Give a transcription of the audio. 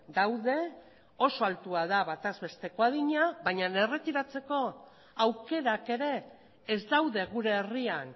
daude oso altua da batez besteko adina baina erretiratzeko aukerak ere ez daude gure herrian